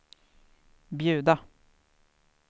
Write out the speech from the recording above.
bjuda